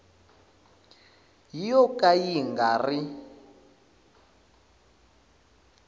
yo ka yi nga ri